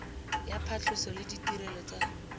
ya phatlhoso le ditirelo tsa